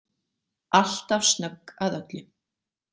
Alltaf snögg að öllu.